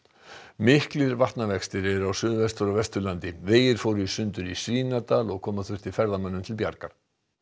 miklir vatnavextir eru á Suðvestur og Vesturlandi vegir fóru í sundur í Svínadal og koma þurfti ferðamönnum til bjargar